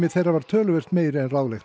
þeirra var töluvert meiri en ráðlegt